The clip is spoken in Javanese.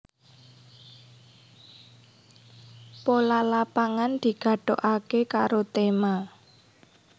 Pola Lapangan digathukaké karo tema